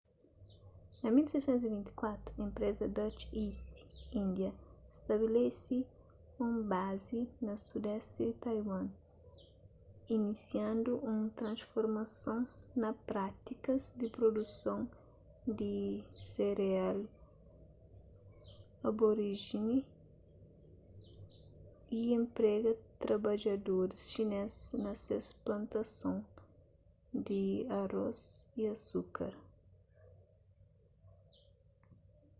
na 1624 enpresa dutch east india stabelese un bazi na sudesti di taiwan inisiandu un transformason na prátikas di produson di sereal aboríjini y enprega trabadjadoris xinês na ses plantason di arôs y asukar